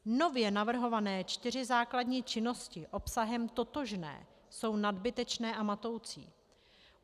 Nově navrhované čtyři základní činnosti obsahem totožné jsou nadbytečné a matoucí.